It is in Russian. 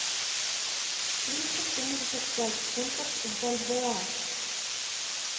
триста семьдесят пять фунтов в бальбоа